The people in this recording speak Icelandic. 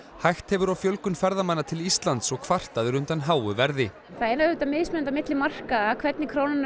hægt hefur á fjölgun ferðamanna til Íslands og kvartað er undan háu verði það er auðvitað mismunandi milli markaða hvernig krónan er